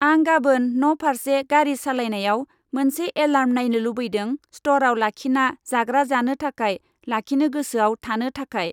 आं गाबोन न फार्से गारि सालायनायाव मोनसे एलार्म नायनो लुबैदों स्टराव लाखिना जाग्रा जानो थाखाय लाखिनो गोसोआव थानो थाखाय।